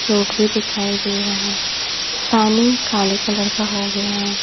Road भी दिखाई दे रहा है पानी काले कलर का हो गया है।